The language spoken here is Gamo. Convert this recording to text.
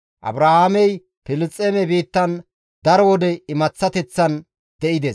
Abrahaamey Filisxeeme biittan daro wode imaththateththan de7ides.